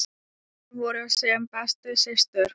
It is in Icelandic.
Þær voru sem bestu systur.